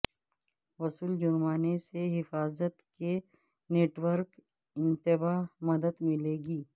وصول جرمانے سے حفاظت کے نیٹ ورک انتباہ مدد ملے گی